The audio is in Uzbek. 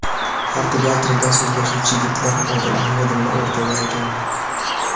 Portugal tilida so‘zlashuvchi yigitlar Odil Ahmedovni o‘rtaga olgan.